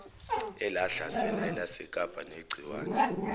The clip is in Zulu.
elahlasela elasekapa negciwane